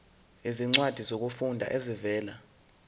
izincwadi zokufunda ezivela